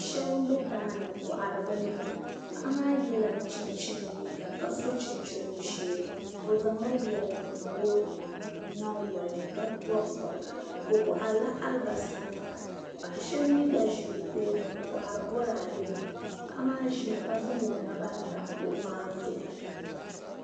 Shab. n be daani nkohiri bi nema. paɣimaa yela chin chini liiga kaso chinchini ɔ sheeni ɔ zaŋla yer n niŋ o nyin goli ni ka bɔbi bɔbiga. okohirila albasanima paɣi shab mi gba zi o tooni n kohiri bɔradenima. paɣimaa zimi ka zaŋ o naba n tam kuɣu maa zuɣu.